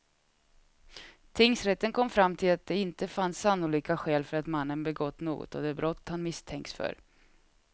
Tingsrätten kom fram till att det inte fanns sannolika skäl för att mannen begått något av de brott han misstänkts för.